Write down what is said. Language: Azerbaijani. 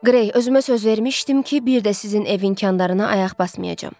Qrey, özümə söz vermişdim ki, bir də sizin ev imkanlarına ayaq basmayacam.